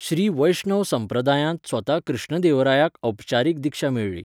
श्री वैष्णव संप्रदायांत स्वता कृष्ण देवरायाक औपचारीक दिक्षा मेळ्ळी.